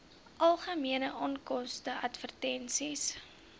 algemene onkoste advertensies